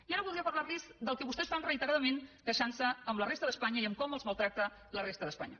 i ara voldria parlar los del que vostès fan reiteradament queixant se amb la resta d’espanya i com els maltracta la resta d’espanya